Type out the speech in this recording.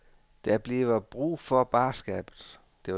Der bliver brug for barskabet.